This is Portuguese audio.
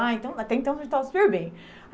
Ah então até então a gente estava super bem.